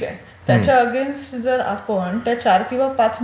ठीक आहे. त्याच्या आगेन्स्ट जर आपण चार किंवा पाच...